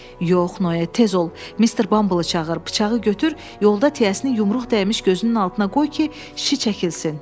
Yox, Noye, tez ol, Mister Bumble-ı çağır, bıçağı götür, yolda tiyəsini yumruq dəymiş gözünün altına qoy ki, şiş çəkilsin.